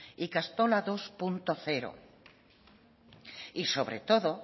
ikastola dos punto cero y sobre todo